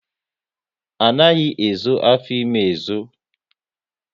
Anaghi ezo afọ ime ezo